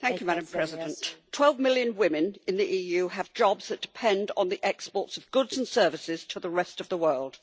Madam President, 12 million women in the EU have jobs that depend on the export of goods and services to the rest of the world.